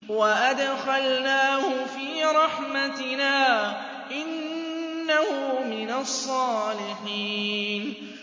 وَأَدْخَلْنَاهُ فِي رَحْمَتِنَا ۖ إِنَّهُ مِنَ الصَّالِحِينَ